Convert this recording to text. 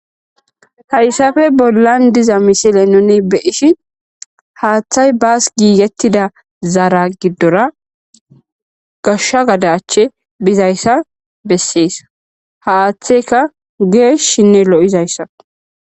Hayssafe bollan diza misile noni beishi haaththay baas giigettida zaara giddora gashsha gadache bizayssa bessees ha aaththeka geesh shinne lo7izayssa.